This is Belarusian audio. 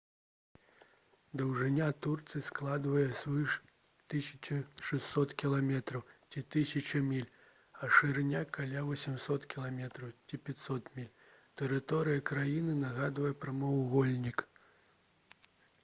даўжыня турцыі складае звыш 1600 км ці 1000 міль а шырыня — каля 800 км ці 500 міль. тэрыторыя краіны нагадвае прамавугольнік